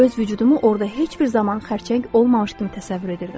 Mən öz vücudumu orda heç bir zaman xərçəng olmamış kimi təsəvvür edirdim.